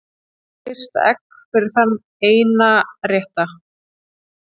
Frysta egg fyrir þann eina rétta